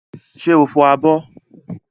Ṣé o fọ abọ́?